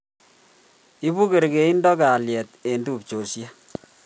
Ibu kerkeindo kalyet eng' tupchondi